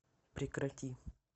прекрати